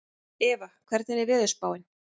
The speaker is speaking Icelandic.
Eva, hvernig er veðurspáin?